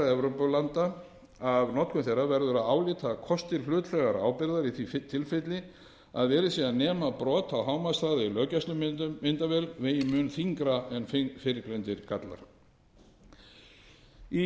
evrópulanda af notkun þeirra verður að álíta að kostir hlutlægrar ábyrgðar í því tilfelli að verið sé að nema brot á hámarkshraða í löggæslumyndavél vegi mun þyngra en fyrrgreindir gallar í